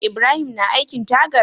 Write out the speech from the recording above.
Ibrahim na aikin tagar?